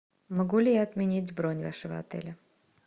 могу ли я отменить бронь вашего отеля